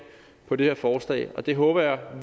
på det her forslag og det håber jeg